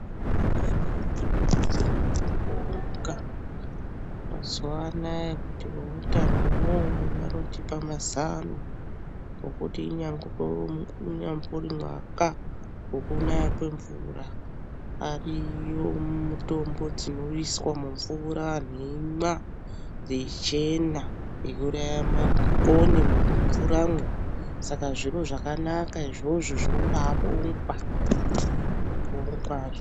Tinoda kubonga mazuwa anaya kuti veutano unowu vanotipa mazano nekuti inyambori unyambori mwaka wekunaya kwemvura ariyo mitombo dzinoiswa mumvura antu eimwa yeichena. Eiuraya makonye mumvura mwo. Saka zviro zvakanaka izvozvo zvinombabongwa. Zvinobongwa.